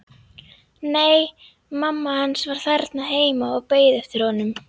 Nei, mamma hans var þarna heima og beið eftir honum.